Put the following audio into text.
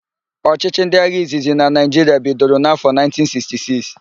Ọchịchị ndị agha izizi na Naịjiria bidoro n'afọ 1966.